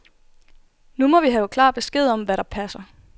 Nu må vi have klar besked om, hvad der passer.